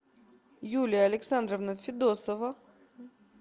юлия александровна федосова